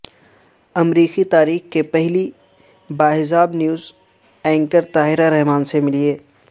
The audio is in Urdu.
امریکی تاریخ کی پہلی باحجاب نیوز اینکر طاہرہ رحمان سے ملیے